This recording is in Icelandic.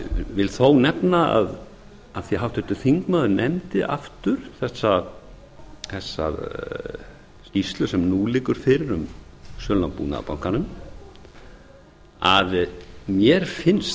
vil þó nefna af því að háttvirtur þingmaður nefndi aftur þessa skýrslu sem nú liggur fyrir um sölu á búnaðarbankanum að mér finnst